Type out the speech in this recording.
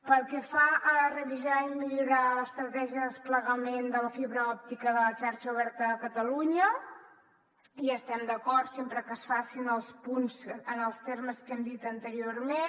pel que fa a revisar i millorar l’estratègia de desplegament de la fibra òptica de la xarxa oberta de catalunya hi estem d’acord sempre que es facin els punts en els termes que hem dit anteriorment